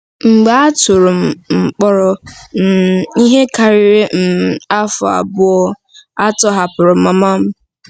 Mgbe a tụrụ m um mkpọrọ um ihe karịrị um afọ abụọ, a tọhapụrụ mama m.